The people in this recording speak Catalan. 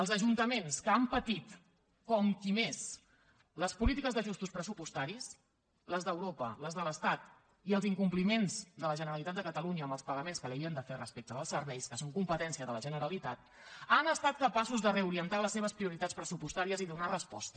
els ajuntaments que han patit com qui més les polítiques d’ajustos pressupostaris les d’europa les de l’estat i els incompliments de la generalitat de catalunya en els pagaments que li havien de fer respecte dels serveis que són competència de la generalitat han estat capaços de reorientar les seves prioritats pressupostàries i donar hi resposta